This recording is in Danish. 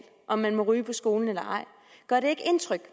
om man må ryge på skolen eller ej gør det ikke indtryk